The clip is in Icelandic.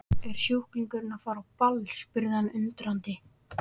Er sjúklingurinn að fara á ball? spurði hann undrandi.